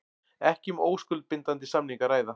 Ekki um óskuldbindandi samning að ræða